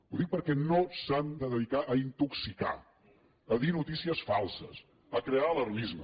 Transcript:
ho dic perquè no s’han de dedicar a intoxicar a dir notícies falses a crear alarmisme